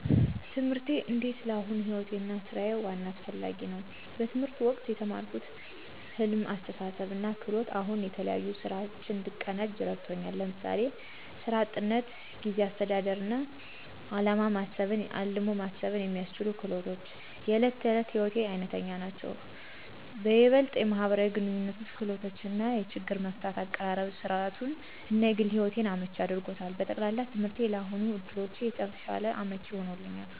ትምህርቴ እንዴት ለአሁኑ ሕይወቴ እና ሥራዊ ዋና እና አስፋሚ ነው። በትምህርት ወቅቴ የተማርኩት ህልመት፣ አስተሳሰብ እና ክህሎቶች አሁን የተለያዩ ሥራዊ እንድቀናጅ እረድቱኛ። ለምሳሌ፣ የሥራ �ጥንትነት፣ ጊዜ አስተዳደር እና ዓላማ ማሰብን የሚያስችሉ ክህሎቶች � የእለት ተእለት ሕይወቴ አይነተኛ ናቸው። ብለጥ የማህበራዊ ግንኙነቶች ክህሎት እና የችግር መፍታት አቀራረብ ሥራዊቱን እና የግል ሕይወቴን አመቺ አድርጎታል። በጠቅላላ፣ ትምህርቴ ለአሁን ዕድሎቼ የተሻለ አመቺ ሆኖኛል።